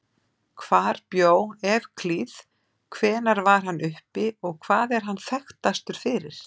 Hvar bjó Evklíð, hvenær var hann uppi og hvað er hann þekktastur fyrir?